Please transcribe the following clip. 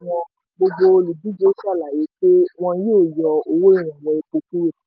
gbogbo olùdíje ṣàlàyé pé wọn yóò yọ owó ìrànwọ́ epo kúrò.